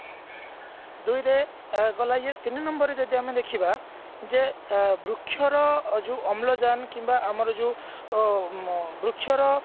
ଦୁଇରେ ଗଲା ଇଏ ଯଦି ଆମେ ତିନି number ରେ ଦେଖିବା ଯେ ଅ ବୃକ୍ଷର ଅମ୍ଳଜାନ କିମ୍ବା ଆମର ଯୋଉ ଅ ବୃକ୍ଷ ର